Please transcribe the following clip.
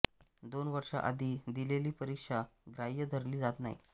दोन वर्षा आधी दिलेली परिक्षा ग्राह्य धरली जात नाही